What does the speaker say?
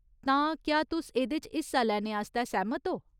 तां, क्या तुस एह्दे च हिस्सा लैने आस्तै सैह्‌मत ओ ?